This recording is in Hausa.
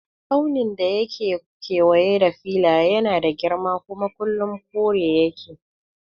Tsaunin da yake kewaye da Filiya yana da girma kuma kullum kore yake